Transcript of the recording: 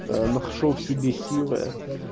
нашёл в себе силы